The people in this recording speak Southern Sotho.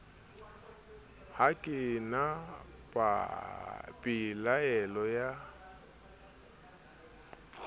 ha ke na pelaelo ya